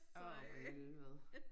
Åh for helvede